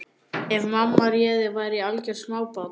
Ef mamma réði væri ég algjört smábarn.